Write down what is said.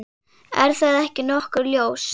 Er það ekki nokkuð ljóst?